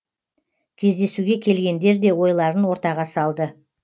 кездесуге келгендер де ойларын ортаға салды